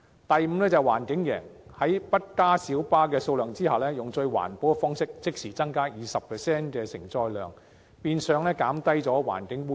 第五，環境贏，在不增加小巴數量的情況下，以最環保的方式即時增加 20% 承載量，變相減少環境污染。